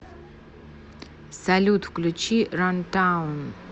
салют включи рантаун